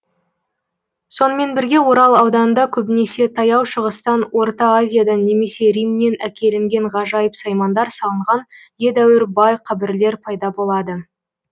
сонымен бірге орал ауданында көбінесе таяу шығыстан орта азиядан немесе римнен әкелінген ғажайып саймандар салынған едәуір бай қабірлер пайда болады